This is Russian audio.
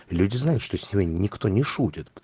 люди знают что сегодня никто не шутит